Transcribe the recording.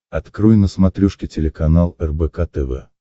открой на смотрешке телеканал рбк тв